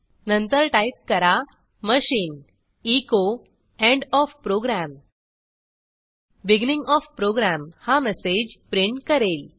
नंतर टाईप करा machine echo end O F program beginning O F program हा मेसेज प्रिंट करेल